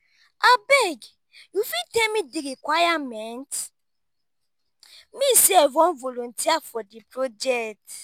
abeg you fit tell me di requirements me sef wan voluteer for di project.